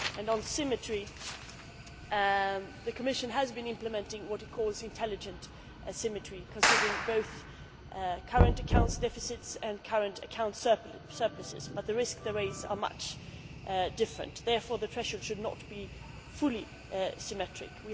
On symmetry, the Commission has been implementing what it calls intelligent symmetry, considering both current account deficits and current account surpluses, but the risks they raise are very different. Therefore the pressure should not be fully symmetrical.